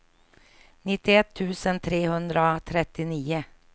nittioett tusen trehundratrettionio